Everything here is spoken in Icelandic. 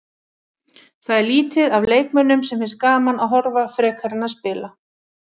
Það er lítið af leikmönnum sem finnst gaman að horfa frekar en að spila.